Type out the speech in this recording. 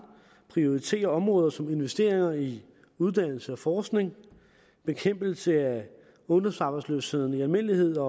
prioriterer områder som investeringer i uddannelse og forskning bekæmpelse af ungdomsarbejdsløsheden i almindelighed og